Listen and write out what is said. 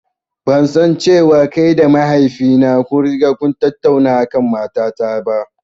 Ban san cewa kai da mahaifi na kun riga kun tattauna a kan mata ta ba.